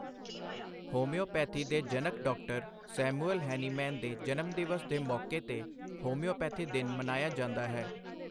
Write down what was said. Homeopathy ਦੇ ਜਨਕ doctor Samuel Hahnemann ਦੇ ਜਨਮਦਿਵਸ ਦੇ ਮੌਕੇ ਤੇ ਹੋਮਿਓਪੇਥੀ ਦਿਨ ਮਨਾਇਆ ਜਾਂਦਾ ਹੈ।